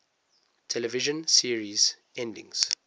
television series endings